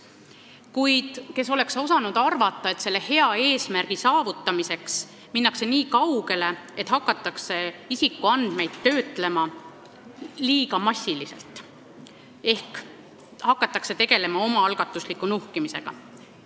Kuid kes oleks osanud arvata, et selle hea eesmärgi saavutamiseks minnakse nii kaugele, et hakatakse isikuandmeid töötlema liiga massiliselt ehk hakatakse tegelema omaalgatusliku nuhkimisega.